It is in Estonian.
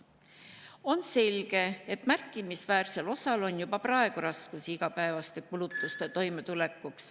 On selge, et märkimisväärsel osal on juba praegu raskusi igapäevaste kulutustega toimetulekul.